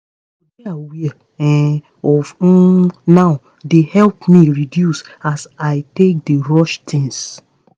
ehn to dey aware um of um now dey help me reduce as i take dey rush thuings